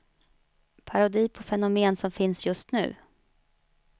Parodi på fenomen som finns just nu.